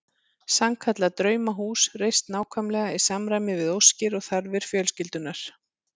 Sannkallað draumahús reist nákvæmlega í samræmi við óskir og þarfir fjölskyldunnar.